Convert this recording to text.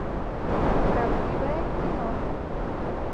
правдивое кино